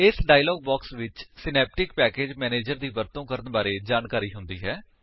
ਇਸ dialog box ਵਿੱਚ Synaptic package manager ਦੀ ਵਰਤੋ ਕਰਨ ਬਾਰੇ ਜਾਣਕਾਰੀ ਹੁੰਦੀ ਹੈ